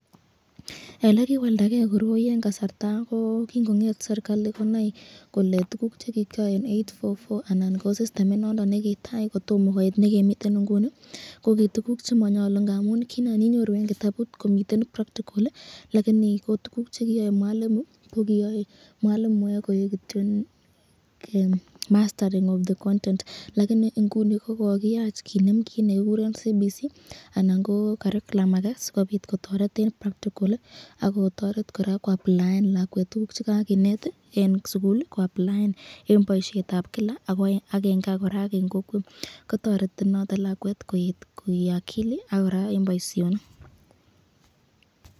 Ele kiwaldagei koroi eng kasarta ,ko kingonget serikali konai kole tukuk chekikyae eng 8-4-4 anan ko sistemit nondon nekitai kotomo koit nekemiten inguni, ko ko tukuk chemanyalu ngamun kinan eng kitabut komiten practical ko tukuk chekikyae mwalimu ko kiyoe koek mastery of the content ko eng inguni kokoyach kinem kit nekikuren CBC sikopit kotoret lakwet koapplaen eng boisyetab Kila ak kila